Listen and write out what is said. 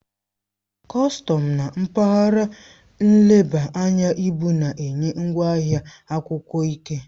Kọstọm na mpaghara nleba anya ibu na-enye ngwaahịa akwụkwọ ike.